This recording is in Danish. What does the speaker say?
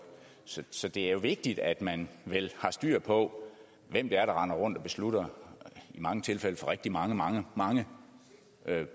så så det er jo vigtigt at man vel har styr på hvem det er der render rundt og beslutter i mange tilfælde for rigtig mange mange mange